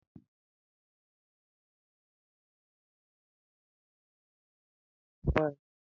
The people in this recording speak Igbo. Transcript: N'afọ gara aga, Sochi ghọrọ onye otu egwuregwu ịgba egwu ụmụ nwanyị.